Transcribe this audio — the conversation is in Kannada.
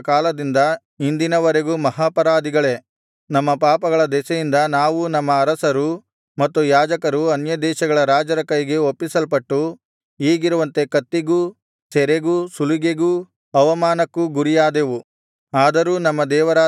ನಾವು ನಮ್ಮ ಪೂರ್ವಿಕರ ಕಾಲದಿಂದ ಇಂದಿನ ವರೆಗೂ ಮಹಾಪರಾಧಿಗಳೇ ನಮ್ಮ ಪಾಪಗಳ ದೆಸೆಯಿಂದ ನಾವೂ ನಮ್ಮ ಅರಸರೂ ಮತ್ತು ಯಾಜಕರೂ ಅನ್ಯದೇಶಗಳ ರಾಜರ ಕೈಗೆ ಒಪ್ಪಿಸಲ್ಪಟ್ಟು ಈಗಿರುವಂತೆ ಕತ್ತಿಗೂ ಸೆರೆಗೂ ಸುಲಿಗೆಗೂ ಅಪಮಾನಕ್ಕೂ ಗುರಿಯಾದೆವು